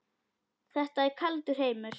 Þetta er kaldur heimur.